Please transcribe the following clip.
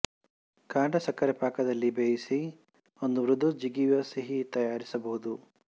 ಕಾಂಡ ಸಕ್ಕರೆ ಪಾಕದಲ್ಲಿ ಬೇಯಿಸಿ ಒಂದು ಮೃದು ಜಿಗಿಯುವ ಸಿಹಿ ತಯಾರಿಸಬಹುದು